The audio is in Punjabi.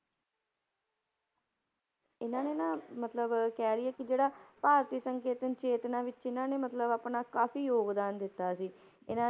ਇਹਨਾਂ ਨੇ ਨਾ ਮਤਲਬ ਕਹਿ ਲਈਏ ਕਿ ਜਿਹੜਾ ਭਾਰਤੀ ਸੰਕੇਤਨ ਚੇਤਨਾ ਵਿੱਚ ਇਹਨਾਂ ਨੇ ਮਤਲਬ ਆਪਣਾ ਕਾਫ਼ੀ ਯੋਗਦਾਨ ਦਿੱਤਾ ਸੀ, ਇਹਨਾਂ